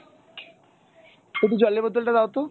একটু জলের বোতল টা দাও তো।